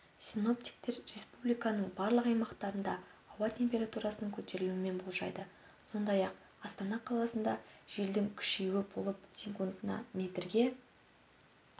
синоптиктер республиканың барлық аймақтарында ауа температурасының көтерілуін болжайды сондай-ақ астана қаласында желдің күшеюі болып секундына метрге